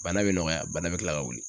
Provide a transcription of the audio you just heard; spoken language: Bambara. Bana be nɔgɔya bana be kila ka wuli